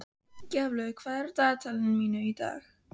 Gjaflaug, hvað er á dagatalinu mínu í dag?